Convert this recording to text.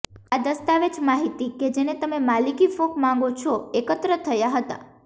આ દસ્તાવેજ માહિતી કે જેને તમે માલિકી કૂક માંગો છો એકત્ર થયા હતા